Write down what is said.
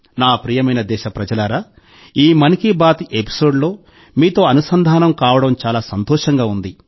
నా ప్రియమైన దేశప్రజలారా ఈ 'మన్ కీ బాత్' ఎపిసోడ్లో మీతో అనుసంధానం కావడం చాలా సంతోషంగా ఉంది